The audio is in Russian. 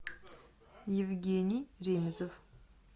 евгений ремезов